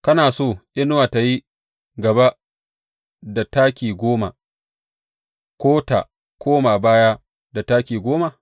Kana so inuwa tă yi gaba da taki goma, ko tă koma baya da taki goma?